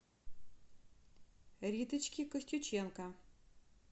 риточке костюченко